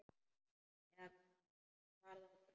Eða var það brauð?